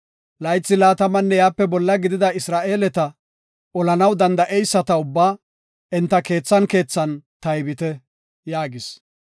“Laythi laatamanne iyape bolla gidida Isra7eeleta, olanaw danda7eyisata ubbaa, enta keethan keethan taybite” yaagis.